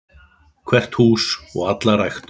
Hvert hús og alla ræktun.